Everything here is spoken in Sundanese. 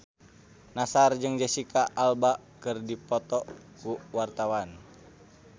Nassar jeung Jesicca Alba keur dipoto ku wartawan